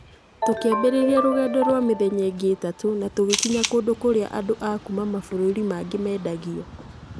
Tũkĩambĩrĩria rũgendo rwa mĩthenya ĩngĩ ĩtatũ na tũgĩkinya kũndũ kũrĩa andũ a kuuma mabũrũri mangĩ mendagio.